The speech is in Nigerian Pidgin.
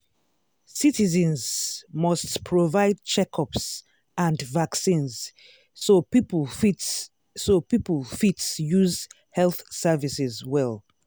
citizens must provide checkups and vaccines so people fit so people fit use health services well.